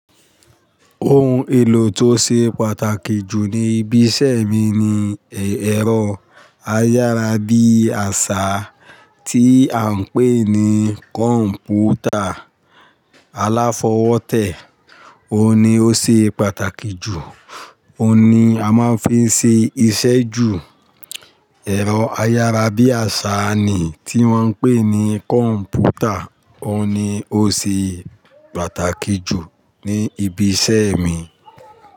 Ohun èlò tó ṣe pàtàkì jù ní ibi iṣẹ́ mi ni ẹ̀rọ ayárabíàṣá tí à ń pè ní kọ̀ǹpútà aláfọwótẹ́. Ó ni ó ṣe pàtàkì jù, ó ni a máa ń fi ṣe iṣẹ́ jù. Ẹ̀rọ ayárabíàṣá ni ti wọ́n ń pè ní kọ̀ǹpútà, ó ni o ṣe pàtàkì jù ní ibi iṣẹ́ mi.